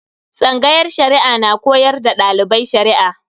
Tsangayar Shari'a na koyar da dalibai Shari'a.